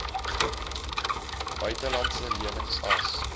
buitelandse lenings as